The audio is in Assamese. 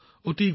ধন্যবাদ